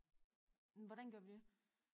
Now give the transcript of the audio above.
Men hvordan gør vi det?